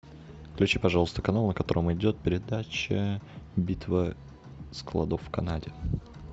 включи пожалуйста канал на котором идет передача битва складов в канаде